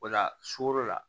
O la sugoro la